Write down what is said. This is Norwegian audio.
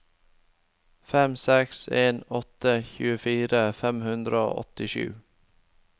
fem seks en åtte tjuefire fem hundre og åttisju